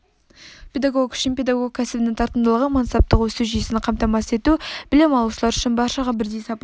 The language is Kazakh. педагог үшін педагог кәсібінің тартымдылығы мансаптық өсу жүйесін қамтамасыз ету білім алушылар үшін баршаға бірдей сапалы